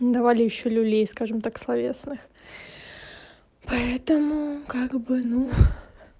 ну давали ещё люлей скажем так словесных поэтому как бы ну